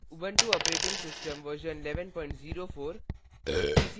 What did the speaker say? Ubuntu operating system version 1104